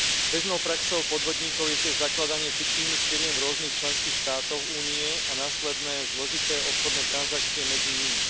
Bežnou praxou podvodníkov je tiež zakladanie fiktívnych firiem v rôznych členských štátoch Únie a následné zložité obchodné transakcie medzi nimi.